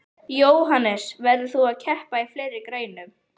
Jóhannes: Verður þú að keppa í fleiri greinum?